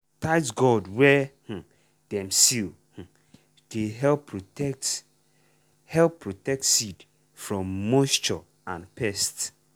tight gourd wey um dem seal um dey help protect help protect seed from moisture and pest.